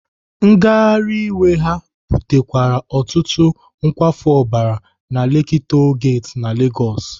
Ngagharị iwe ha butekwara ọtụtụ nkwafu ọbara na Lekki Toll Gate na Legosi.